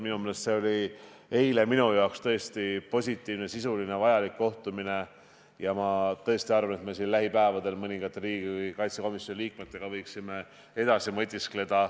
Minu meelest oli eilne kohtumine tõesti positiivne ja sisuliselt vajalik kohtumine ja ma arvan, et me võiksime lähipäevadel mõningate riigikaitsekomisjoni liikmetega nende teemade üle edasi mõtiskleda.